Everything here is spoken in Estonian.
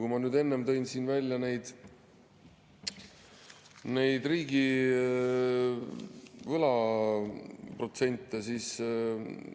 Kui ma enne tõin siin välja neid riigivõla protsente, siis